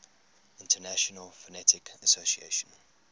international phonetic association